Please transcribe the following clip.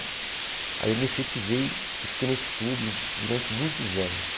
Aí eu me efetivei e fiquei nesse clube durante muitos anos.